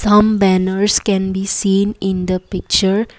pam banners can be seen in the picture.